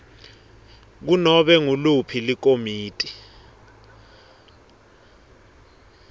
kunobe nguliphi likomiti